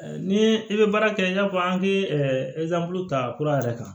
Ni i bɛ baara kɛ i n'a fɔ an ke ta kura yɛrɛ kan